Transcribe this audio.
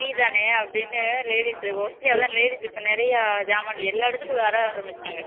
free தானே அப்படின்னு ladies உ mostly ladies இப்போ நிறைய ஜாமாண் எல்லா இடத்துக்கும் வர ஆரமிச்சுட்டாங்க